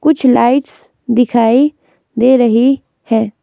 कुछ लाइट्स दिखाई दे रही हैं.